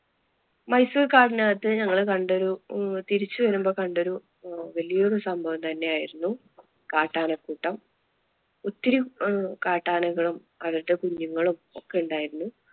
മൈസൂർ കാടിനകത്ത് ഞങ്ങൾ കണ്ടൊരു തിരിച്ചു വരുമ്പോൾ കണ്ടൊരു വലിയൊരു സംഭവം തന്നെ ആയിരുന്നു കാട്ടാന കൂട്ടം, ഒത്തിരി കാട്ടാനകളും അതിന്‍റെ കുഞ്ഞുങ്ങളും ഒക്കെ ഉണ്ടായിരുന്നു.